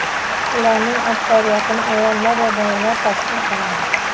Ularning aksariyatini ayollar va bolalar tashkil qiladi.